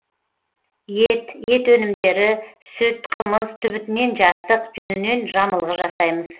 ет ет өнімдері сүт қымыз түбітінен жастық жүнінен жамылғы жасаймыз